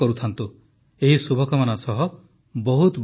ଏହି ଶୁଭକାମନା ସହ ବହୁତ ବହୁତ ଧନ୍ୟବାଦ